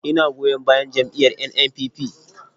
Ina goyon bayan jam’iyyar NNPP.